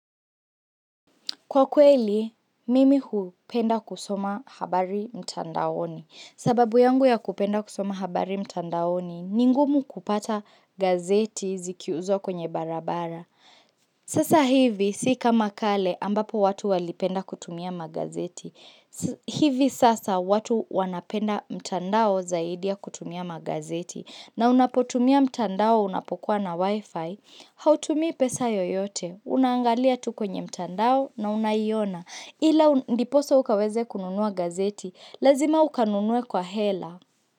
Kwa kweli, mimi hupenda kusoma habari mtandaoni. Sababu yangu ya kupenda kusoma habari mtandaoni, ni ngumu kupata gazeti zikiuzwa kwenye barabara. Sasa hivi, si kama kale ambapo watu walipenda kutumia magazeti. Hivi sasa watu wanapenda mtandao zaidi ya kutumia magazeti. Na unapotumia mtandao unapokuwa na wifi, hautumii pesa yoyote. Unaangalia tuko kwenye mtandao na unaiona Ila ndiposa ukaweze kununua gazeti Lazima ukanunue kwa hela.